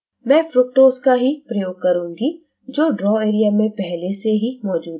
मैं fructose का ही प्रयोग करूंगी जो draw area में पहले ही मौजूद है